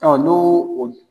Ɔn, n'o